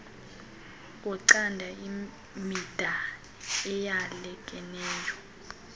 wocando mida eyalekeneyo